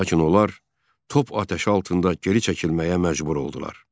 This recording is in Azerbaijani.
Lakin onlar top atəşi altında geri çəkilməyə məcbur oldular.